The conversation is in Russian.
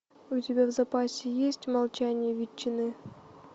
у тебя в запасе есть молчание ветчины